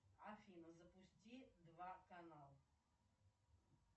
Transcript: афина запусти два канал